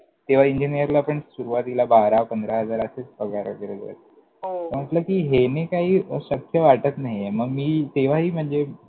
तेव्हा इंजिनियरला पण सुरुवातीला बारा पंधरा हजार असेच पगार वगैरे होते. हो, म्हटलं कि हेने शक्य वाटत नाहीये मग मी तेव्हाही म्हणजे